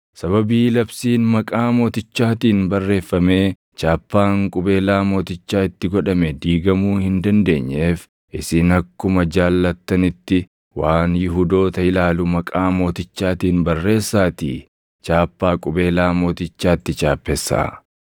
Sababii labsiin maqaa mootichaatiin barreeffamee chaappaan qubeelaa mootichaa itti godhame diigamuu hin dandeenyeef isin akkuma jaallattanitti waan Yihuudoota ilaalu maqaa mootichaatiin barreessaatii chaappaa qubeelaa mootichaa itti chaappessaa.”